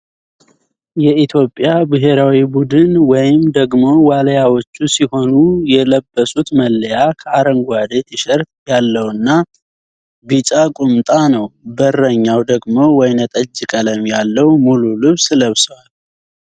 የኢትዮጵያ ብሔራዊ ቡድን ወይም ደግሞ ዋልያዎቹ ሲሆኑ የልብሱት መለያ ከአረንጓዴ ቲሸርት ያለውና ቢጫ ቁምጣ ነው ። በረኛው ደግሞ ወይነጠጅ ቀለም ያለው ሙሉ ልብስ ለብሱዋል።